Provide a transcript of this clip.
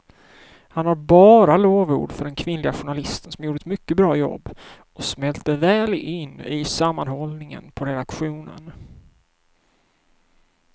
Han har bara lovord för den kvinnliga journalisten som gjorde ett mycket bra jobb och smälte väl in i sammanhållningen på redaktionen.